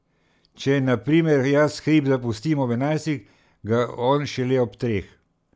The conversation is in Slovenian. Če na primer jaz hrib zapustim ob enajstih, ga on šele ob treh.